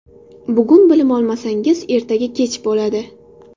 Bugun bilim olmasangiz, ertaga kech bo‘ladi.